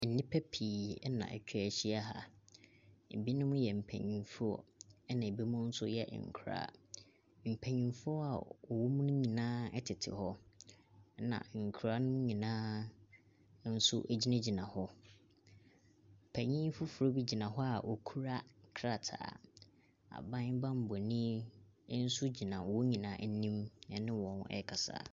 Nnipa pii na etwa ahyia ha. Ebinom yɛ mpanyimfoɔ na ebinim nso yɛ nkoraa. Mpanyimfoɔ a wɔwɔ mu no nyinaa tete hɔ ɛna nkora no nyinaa gyinagyina hɔ. Panyin foforo bi gyina hɔ a okura krataa. Aban banbɔni nso gyina wɔn nyinaa anim ɛne wɔn ɛɛkasa.